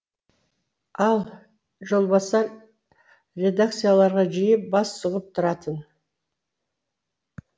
ал жолбасар редакцияларға жиі бас сұғып тұратын